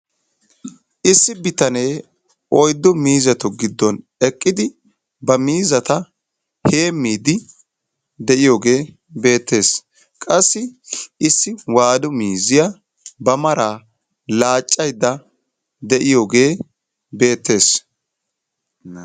Issi bitanee oyddu miizzatu giddon eqqidi ba miizzata heemmiiddi de'iyogee beettees. Qassi issi waadu miizziya ba maraa laaccaydda de'iyogee beettees.